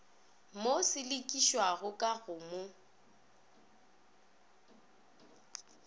mo selekišago ka go mo